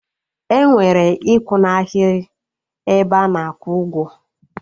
Enwere ikwu n'aghịrị 'ebe ana akwụ ụgwọ